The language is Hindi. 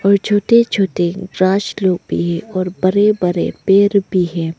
और छोटे छोटे ब्रास लोग भी है और बड़े बड़े पेड़ भी है।